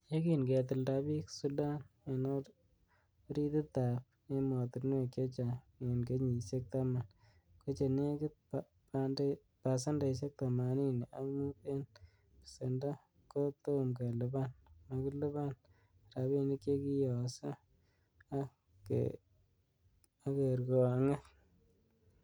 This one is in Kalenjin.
Yekin ketilda bii Sudan en orititab emotinwek chechang en kenyisiek taman, kochenegit pasendeisiek themanini ak mut en besendo kotomkelipan-makiliban rabinik che kiiyoso ak kergonget.